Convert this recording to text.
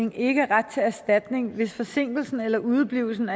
ikke ret til erstatning hvis forsinkelsen eller udeblivelsen